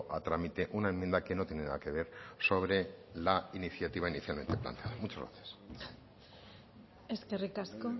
a trámite una enmienda que no tiene nada que ver sobre la iniciática inicialmente planteada muchas gracias eskerrik asko